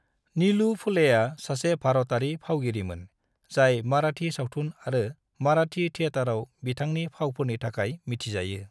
नीलू फुलेआ सासे भारतारि फावगिरिमोन जाय मराठी सावथुन आरो मराठी थिएटारआव बिथांनि फावफोरनि थाखाय मिथिजायो।